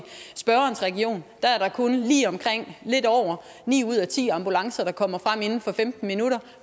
spørgerens region kun er lige omkring ni ud af ti ambulancer der kommer frem inden for femten minutter